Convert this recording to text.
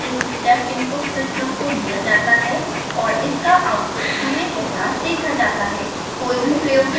इस मेथड में एक step input सिस्टम को दिया जाता है और इसका आउटपुट समय के साथ देखा जाता है